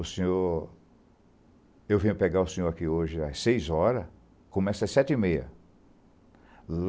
O senhor... Eu venho pegar o senhor aqui hoje às seis horas, começa às sete e meia.